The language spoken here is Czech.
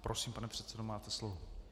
Prosím, pane předsedo, máte slovo.